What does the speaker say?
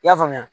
I y'a faamuya